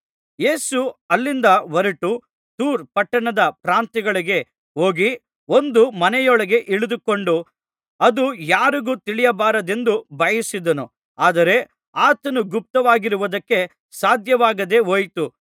ಯೇಸು ಅಲ್ಲಿಂದ ಹೊರಟು ತೂರ್ ಪಟ್ಟಣದ ಪ್ರಾಂತ್ಯಗಳಿಗೆ ಹೋಗಿ ಒಂದು ಮನೆಯೊಳಗೆ ಇಳಿದುಕೊಂಡು ಅದು ಯಾರಿಗೂ ತಿಳಿಯಬಾರದೆಂದು ಬಯಸಿದನು ಆದರೆ ಆತನು ಗುಪ್ತವಾಗಿರುವುದಕ್ಕೆ ಸಾಧ್ಯವಾಗದೆ ಹೋಯಿತು